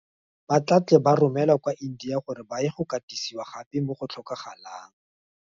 Ba tla tle ba romelwa kwa India gore ba ye go katisiwa gape mo go tlhokagalang.